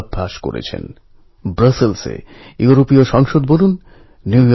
মাবাবার দুঃখ হয়নি বা মা চোখের জল ফেলেননি তা কিন্তু নয়